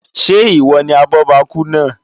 Ṣé ìwọ ni abọ́bakú náà?